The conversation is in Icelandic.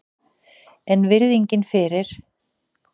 En virðingin fyrir